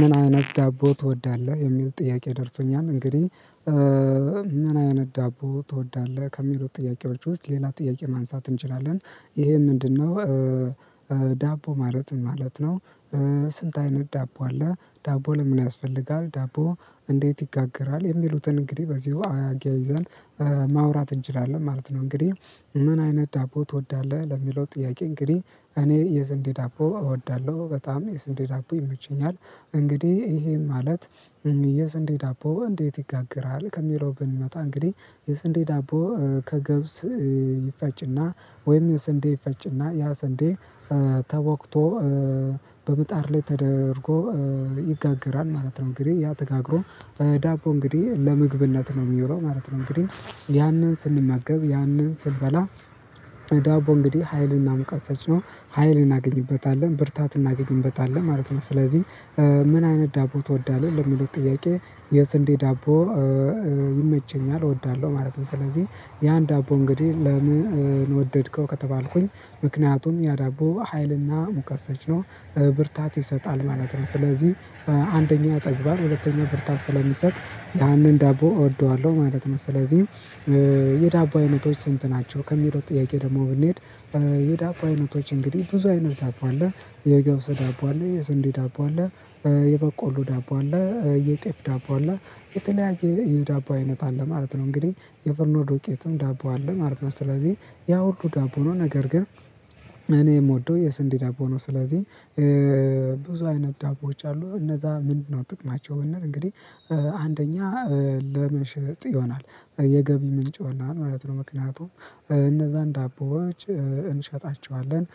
ምን አይነት ዳቦ ትወዳለህ? የሚል ጥያቄ ደርሶኛል እንግዲህ ምን አይነት ዳቦ ትወዳለህ ከሚለው ጥያቄዎች ውስጥ ሌላ ጥያቄ ማንሳት እንችላለን ይሄ ምንድነው? ዳቦ ማለት ምን ማለት ነው? ስንት አይነት ዳቦ አለ? ዳቦ ለምን ያስፈልጋል ዳቦ እንዴት ይጋገራል? የሚሉትን እንግዲህ በዚሁ አያይዘን ማውራት እንችላለን ማለት ነው። እንግዲህ ምን አይነት ዳቦ ትወዳለህ ለሚለው ጥያቄ እንግዲህ እኔ የስንዴ ዳቦ እወዳለሁ በጣም የስንዴ ዳቦ ይመቸኛል። እንግዲህ ይሄ ማለት የስንዴ ዳቦ እንዴት ይጋግራል ከሚለው ብንመጣ እንግዲህ የስንዴ ዳቦ ከገብስ ይፈጭ እና ወይም የስንዴ ይፈጭና ያ ስንዴ ተቦክቶ በምጣዳ ላይ ተደርጎ ይጋገራል ማለት ነው። እንግዲህ ያ ተጋግሮ ዳቦ እንግዲህ ለምግብነት ነው የሚለው ማለት ነው። እንግዲህ ያንን ስንማገብ ያንን ስንበላ ዳቦ እንግዲህ ሀይልን ሙቀት ሰጪ ነው ሀይልን እናገኝበታለነ ብርታትን እናገኝበታለን ማለት ነው። ስለዚህ ምን አይነት ዳቦ ትወዳለህ ለሚሉት ጥያቄ የስንዴ ዳቦ ይመቸኛል እወዳለሁ ማለት ነው። ስለዚህ ያን ዳቦ እንግዲህ ለምን ወደድከው ከተባልኩኝ ምክንያቱም ያ ዳቦ ሀይል እና ሙቀተ ሰጭ ነው ብርታት ይሰጣል ማለት ነው። ስለዚህ አንደኛ ያጠግባል ሁለተኛ ብርታት ስለሚሰጥ ያንን ዳቦ እወደዋለሁ ማለት ነው። ስለዚህ የዳቦ አይነቶች ስንት ናቸው? ከሚለው ጥያቄ ደግሞ ብንሄድ የዳቦ አይነቶች እንግዲህ ብዙ አይነት ዳቦ አለ የገብሰ ዳቦ አለ የስንዴ ዳቦ አለ የበቆሎ ዳቦ አለ የጤፍ ዳቦ አለ የተለያየ ዳቦ አይነት አለ ማለት ነው። እንግዲህ የፍርኖ ዶቄትም ዳቦ አለ ማለት ነው። ስለዚህ ያ ሁሉ ዳቦ ነው ነገር ግን እኔ የምወደው የስንዴ ዳቦ ነው። ስለዚህ ብዙ አይነት ዳቦዎች አሉ እነዛ ምንድነው ጥቅማቸው ብንል? እንግዲህ አንደኛ ለመሸጥ ይሆናል የገቢ ምንጭ ይሆናል ማለት ነው ምክንያቱም እነዛን ዳቦዎች እንሸጣቸዋለን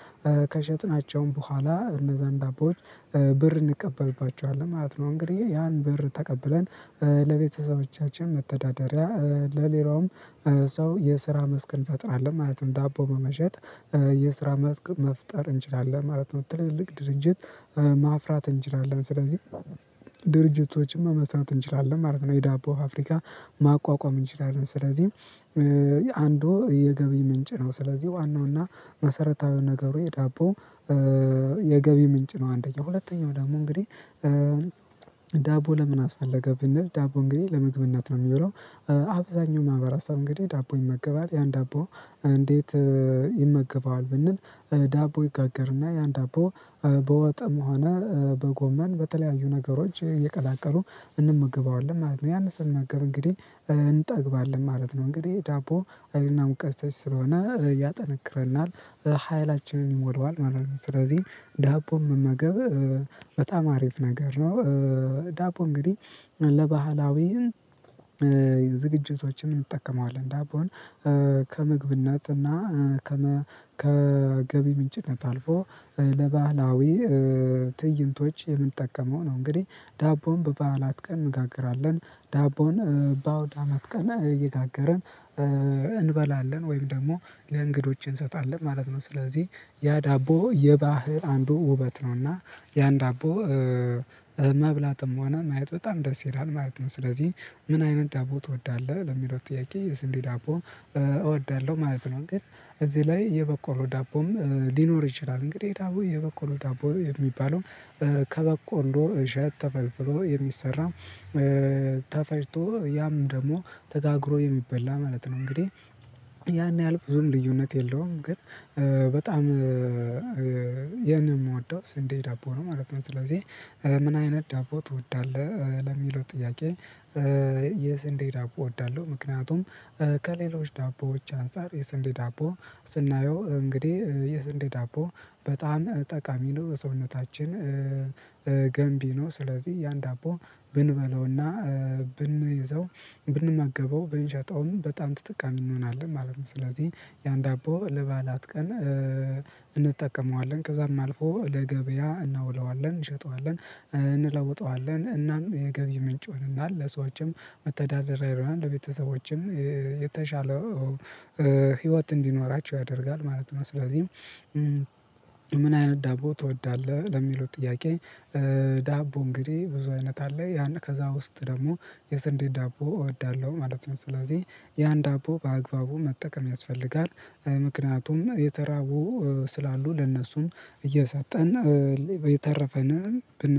ከሸጥናቸውም በኋላ እነዛን ዳቦዎች ብር እንቀበልባቸዋለን ማለት ነው። እንግዲህ ያን በር ተቀብለን ለቤተሰቦቻችን መተዳደሪያ ለሌላውም ሰው የስራ መስክ እንፈጥራለን ማለትም ዳቦ በመሸጥ የስራ መስክ መፍጠር እንችላለን ማለት ነው። ትልልቅ ድርጅት ማፍራት እንችላለን ስለዚህ ድርጅቶችን መመስራት እንችላለን ማለት ነው። የዳቦ ፍብሪካ ማቋቋም እንችላለን ስለዚህ አንዱ የገቢ ምንጭ ነው ስለዚህ ዋናው እና መሰረታዊው ነገሩ የዳቦ የገቢ ምንጭ ነው። አንደኛው ሁለተኛው ደሞ እንግዲህ ዳቦ ለምን አስፈለገ ብንል ዳቦ እንግዲህ ለመግብነት ነው የሚለው። አብዛኛው ማህበራሰብ እንግዲህ ዳቦ ይመገባል ያን ዳቦ እንዴት ይመገባል ብንል? ዳቦ ይጋገርና ያን ዳቦ በወጠም ሆነ በጎመን በተለያዩ ነገሮች እየቀላቀሉ እንመገባዋለን ማለት ነው ያንን ስንመገብ እንግዲህ እንጠግባለን ማለት ነው። እንግዲህ ዳቦ ሀይል እና ሙቀተ ሰጪ ስለሆነ ያጠነክረናል ሀይላችንን ይሞላዋል ማለት ነው። ስለዚህ ዳቦ መመገብ በጣም አሪፍ ነገር ነው። ዳቦ እንግዲህ ለባህላዊም ዝግጅቶችን እንጠቀመዋለን ዳቦን ከምግብነት እና ከገቢ ምንጭነት አልፎ ለባህላዊ ትእይንቶች የምንጠቀመው ነው እንግዲህ ዳቦን በባዓላት ቀን እንጋግራለን ዳቦን ባአውድ አመት ቀን እየጋገርን እንበላለን ወይም ደግሞ ለእንግዶች እንሰጣለን ማለት ነው። ስለዚህ ያ ዳቦ የባህር አንዱ ውበት ነው እና ያን ዳቦ መብላትም ሆነ ማየት በጣም ደስ ይላል ማለት ነው። ስለዚህ ምን አይነት ዳቦ ትወዳለህ ለሚለው ጥያቄ የስንዴ ዳቦ እወዳለሁ ማለት ነው። እንግዲህ እዚህ ላይ የበቆሎም ዳቦም ሊኖር ይችላል። እንግዲህ ዳቦ የበቆሎ ዳቦ የሚባለው ከበቆሎ እሸት ተፈልፍሎ የሚሰራ ተፈጭቶ ያም ደግሞ ተጋግሮ የሚበላ ማለት ነው። እንግዲህ ያን ያህል ብዙም ልዩነት የለውም ግን በጣም ይሄን የምወደው ስንዴ ዳቦ ነው ማለት ነው። ስለዚህ ምን አይነት ዳቦ ትወዳለህ ለሚለው ጥያቄ? የስንዴ ዳቦ እወዳለሁ ምክንያቱም ከሌሎች ዳቦዎች አንፃር የስንዴ ዳቦ ስናየው እንግዲህ የስንዴ ዳቦ በጣም ጠቃሚ ነው ሰውነታችን ገንቢ ነው ስለዚህ ያን ዳቦ ብንበለው እና ብንይዘው ብንመገበው ብንሸጠውም በጣም ትጠቃሚ እንሆናለን ማለት ነው። ስለዚህ ያን ዳቦ ለባዓላት ቀን እንጠቀመዋለን ከዛም አልፎ ለገበያ እናውለዋለን እንሸጠዋለን እንለውጠዋለን እናም የገቢ ምንጭ ይሆነናል ለሰዎችም መተዳደሪያ ይሆናል ለቤተሰቦችም የተሻለው ህይወት እንዲኖራቸው ያደርጋል ማለት ነው። ስለዚህ ምን አይነት ዳቦ ትወዳለህ ለሚለው ጥያቄ? ዳቦ እንግዲህ ብዙ አይነት አለ ያን ከዛ ውስጥ ደግሞ የስንዴ ዳቦ እወዳለሁ ማለት ነው ስለዚህ ያን ዳቦ በአግባቡ መጠቀም ያስፈልጋል። ምክንያቱም የተራቡ ስላሉ ለእነሱም እየሰጠን የተረፈንን